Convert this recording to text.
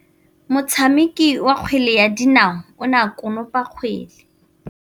Motshameki wa kgwele ya dinaô o ne a konopa kgwele.